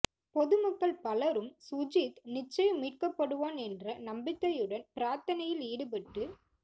பொதுமக்கள் பலரும் சுஜித் நிச்சயம் மீட்கப்படுவான் என்ற நம்பிக்கையுடன் பிரார்த்தனையில் ஈடுபட்டு